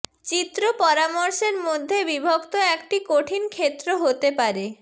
চিত্র পরামর্শের মধ্যে বিভক্ত একটি কঠিন ক্ষেত্র হতে পারে